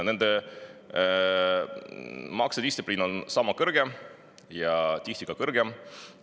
Nende maksedistsipliin on sama ja tihti ka.